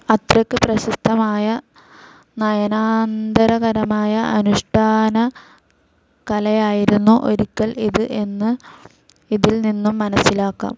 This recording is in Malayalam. അത്രയ്ക്ക് പ്രശസ്തമായ നയനാന്ദകരമായ അനുഷ്ഠാനകലയായിരുന്നു ഒരിക്കൽ ഇത് എന്ന് ഇതിൽ നിന്നും മനസ്സിലാക്കാം.